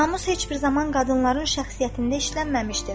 Namus heç bir zaman qadınların şəxsiyyətində işlənməmişdir.